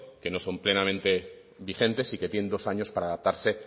que no son plenamente vigentes y que tienen dos años para adaptarse